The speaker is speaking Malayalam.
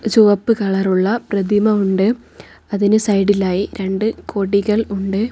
ചുവപ്പ് കളർ ഉള്ള പ്രതിമ ഉണ്ട് അതിന് സൈഡിലായി രണ്ട് കൊടികൾ ഉണ്ട്.